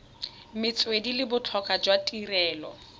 metswedi le botlhokwa jwa tirelo